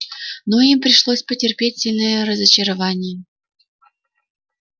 но им пришлось потерпеть сильное разочарование